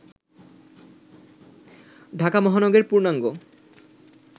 ঢাকা মহানগরের পূর্ণাঙ্গ